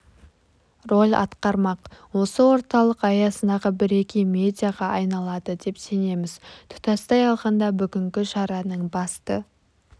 роль атқармақ осы орталық аясындағы бірегей медиаға айналады деп сенеміз тұтастай алғанда бүгінгі шараның басты